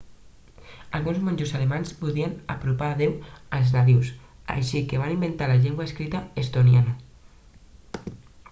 alguns monjos alemanys volien apropar déu als nadius així que es van inventar la llengua escrita estoniana